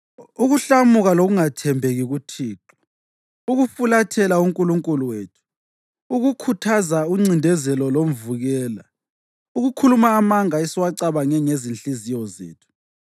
ukuhlamuka lokungathembeki kuThixo, ukufulathela uNkulunkulu wethu, ukukhuthaza uncindezelo lomvukela, ukukhuluma amanga esiwacabange ngezinhliziyo zethu.